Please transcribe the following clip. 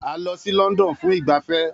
A lọ sí London fún ìgbafẹ́